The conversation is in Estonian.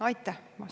Aitäh!